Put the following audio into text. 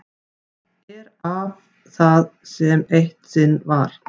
Er af það sem eitt sinn var.